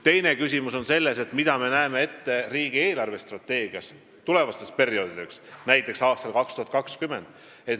Teine küsimus on selles, mida me näeme riigi eelarvestrateegias ette tulevasteks perioodideks, näiteks aastal 2020.